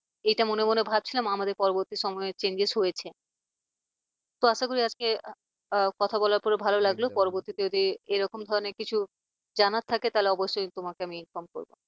এটা মনে মনে ভাবছিলাম আমাদের পরবর্তী সময়ে changes হয়েছে তো আশা করি আজকে কথা বলার পরে ভালো লাগলো, পরবর্তী যদি এরকম ধরনের কিছু জানার থাকে তাহলে অবশ্যই তোমাকে আমি phone করবো।